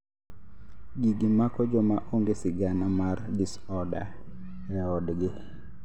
gigi mako joma onge sigana mar disorder e odgi